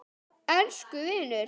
Elsku vinur!